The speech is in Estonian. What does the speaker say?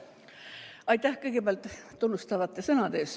Aitäh kõigepealt tunnustavate sõnade eest!